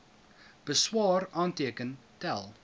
beswaar aanteken tel